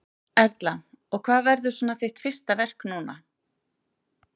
Erla: Og hvað verður svona þitt fyrsta verk núna?